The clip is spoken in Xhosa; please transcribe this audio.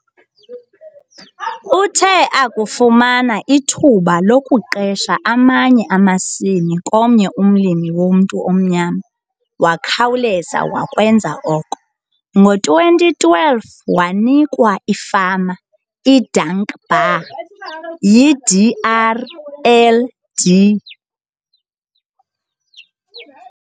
Uthe akufumana ithuba lokuqesha amanye amasimi komnye umlimi womntu omnyama wakhawuleza wakwenza oko. Ngo-2012, wanikwa ifama, iDankbaar, yiDRDLR